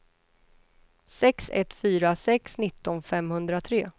sex ett fyra sex nitton femhundratre